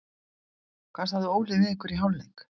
Hvað sagði Óli við ykkur í hálfleik?